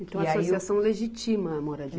E aí. Então a associação legitima a moradia.